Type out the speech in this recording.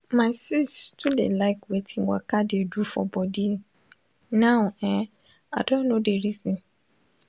my sis too dey like wetin waka dey do for body now eh i don know de reason.